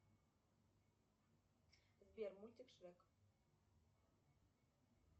сбер мультик шрек